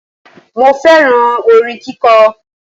Mo féràn orin kíko